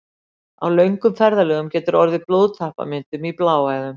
Á löngum ferðalögum getur orðið blóðtappamyndun í bláæðum.